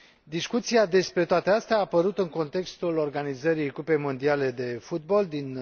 Discuția despre toate acestea a apărut în contextul organizării Cupei Mondiale de Fotbal din